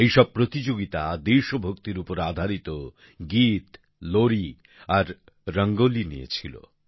এই সব প্রতিযোগিতা দেশভক্তির উপর আধারিত গীত লোরি আর রঙ্গোলি নিয়ে ছিল